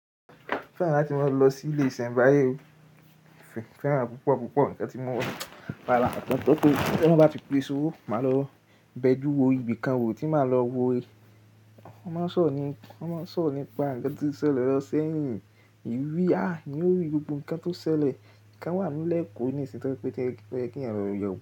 Mo fẹ́ràn láti máa lọ sí ilé ìsẹ̀mbáyé o. Mo fẹ́ràn púpọ̀ púpọ̀ nǹkan tí mo mọ̀. Palàátọ tó ti ẹni bá fi pé e sórí, máa lọ bẹjú wo ibìkan wo tí màá lọ wo. Wọ́n máa ń sọ̀rọ̀ nípa ńkan tí ó ṣẹlẹ̀ lọ́sẹ̀ yìí. Ìwé á, ìwé gbogbo nǹkan tó ṣẹlẹ̀, nǹkan wà nílẹ̀ kú ní ìsìn tọ̀ pé kí ènìyàn rí i.